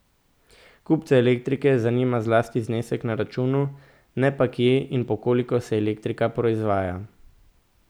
Kupce elektrike zanima zlasti znesek na računu, ne pa kje in po koliko se elektrika proizvaja.